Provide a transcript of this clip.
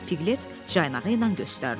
Piqlet caynağı ilə göstərdi.